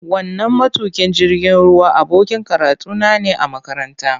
Wannan matukin jirgin ruwa abokin karatuna ne a makaranta.